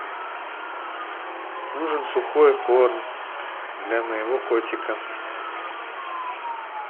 нужен сухой корм для моего котика